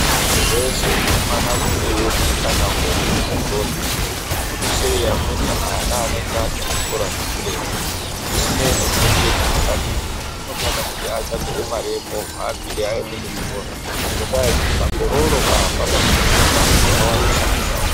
Muntu weshe unofana kunge eiona mukana wekuenda kuzvikora zvikuru sei amweni ana anenge Ari kuzvikora zvekuretu zvisinei kuti kurei zvakadini muntu anofana kuti atsvamirwe Mari yemovha akwire aende kuzvikora ngenda yekuti makororo pamwe chete nemahure awandisa mundaraunda.